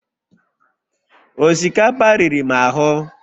osikapa riri m ahụ